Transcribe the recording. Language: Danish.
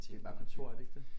Det er bare kontor er det ikke det?